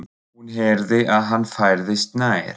Hún heyrði að hann færðist nær.